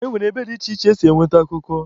E nwere ebe dị iche iche esi enweta akụkọ.